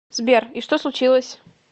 сбер и что случилось